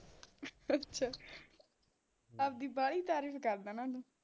ਅੱਛਾ ਆਪਦੀ ਵਾਹਲੀ ਤਾਰੀਫ ਕਰਦਾਂ ਨਾ ਤੂੰ